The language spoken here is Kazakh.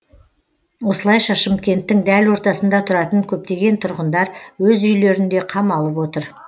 осылайша шымкенттің дәл ортасында тұратын көптеген тұрғындар өз үйлерінде қамалып отыр